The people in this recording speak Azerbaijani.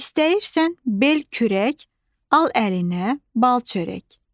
İstəyirsən bel kürək, al əlinə bal çörək.